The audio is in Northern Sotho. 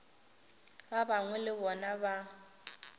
ba gagwe le bona ba